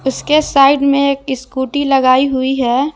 इसके साइड में एक स्कूटी लगाई हुई है।